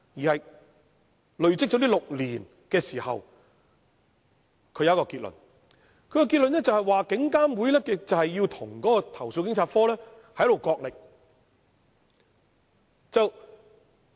他累積6年經驗後得出一個結論，就是警監會要與投訴警察課角力。